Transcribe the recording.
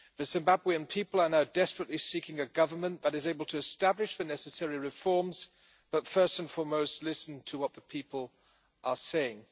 The Zimbabwean people are now desperately seeking a government that is able to establish the necessary reforms, but first and foremost to listen to what the people are saying.